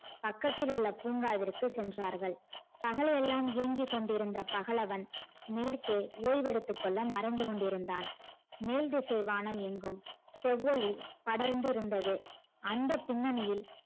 பக்கத்தில் உள்ள பூங்காவிற்கு சென்றன பகலெல்லாம் இயங்கி கொண்டிருந்த பகலவன் மேற்க்கே ஓய்வெடுத்து கொள்ள மறைந்து கொண்டிருந்தான் மேல் திசை வானெங்கும் செவ்வொளி படர்ந்து இருந்தது அந்த பின்னணியில்